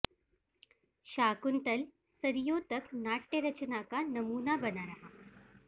शाकुंतल सदियों तक नाट्यरचना का नमूना बना रहा